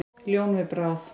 Ljón við bráð.